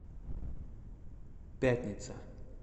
пятница